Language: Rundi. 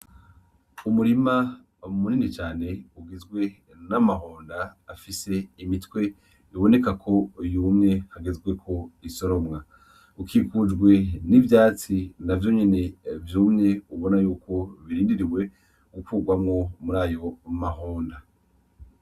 Umurima munini cane ugizwe n'amahonda afise imitwe iboneka ko yumye igezwe ko zisoromwa, ukikujwe n'ivyatsi navyo nyene vyumye ubona yuko birindiriwe gukuramwo murayo mahonda.